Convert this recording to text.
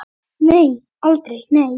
Nei, aldrei, nei!